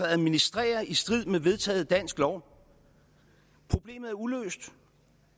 administrerer i strid med vedtaget dansk lov problemet er uløst